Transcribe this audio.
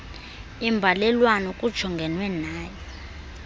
imbalelwano kujongenwe nayo